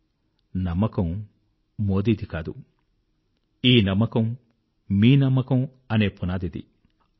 confidence మోదీది కాదు ఈ నమ్మకం మీ నమ్మకం అనే ఫౌండేషన్ ది